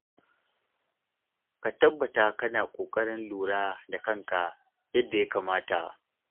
Ka tabbata kana ƙoƙarin lura da kanka yadda ya kamata.